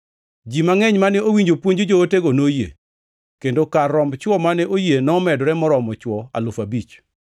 Ji mangʼeny mane owinjo puonj jootego noyie, kendo kar romb chwo mane oyie nomedore moromo chwo alufu abich.